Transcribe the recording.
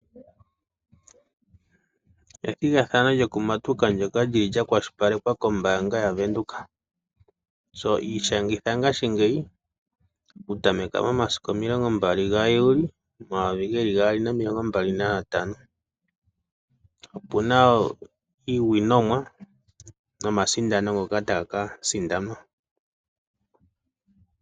Ethigathano lyokumatuka ndyoka lya kwashilipalekwa kombaanga yaVenduka. Ishangitha ngashingeyi okutameka momasiku 20 gaJuli 2025. Opu na iisindanomwa mbyoka tayi ka sindanwa.